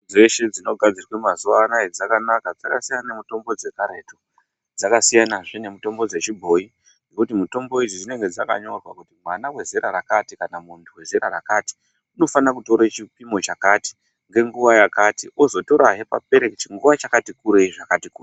Dzeshe dzinogadzirwe mazuwa anaya dzakanaka dzakasiyana nemitombo dzekaretu. Dzakasiyanazve nemitombo dzechibhoyi ngokuti mitombo idzi dzinenge dzakanyorwa kuti mwana wezera rakati kana kuti muntu wezera rakati unofana kutora chipimo chakati ngenguwa yakati ozotorahe papere chinguwa chakati kurei zvakati.